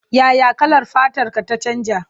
Ya ya kalar fatarta ta canja?